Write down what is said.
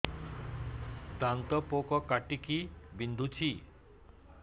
ଦାନ୍ତ ପୋକ କାଟିକି ବିନ୍ଧୁଛି